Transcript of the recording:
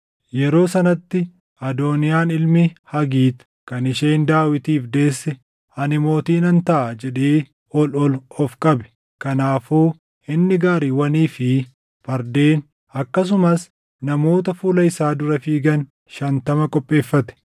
Yeroo sanatti Adooniyaan ilmi Hagiit kan isheen Daawitiif deesse, “Ani mootii nan taʼa” jedhee ol ol of qabe. Kanaafuu inni gaariiwwanii fi fardeen akkasumas namoota fuula isaa dura fiigan shantama qopheeffate.